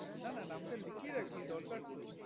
না না নামটা লিখিয়ে রাখি দরকার তো